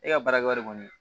E ka baarakɛwari kɔni